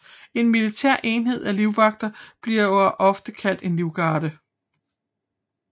En militær enhed af livvagter bliver ofte kaldt en livgarde